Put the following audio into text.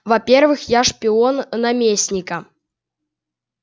во-первых я шпион наместника